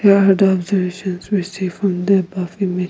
there are the observations receive from the above image.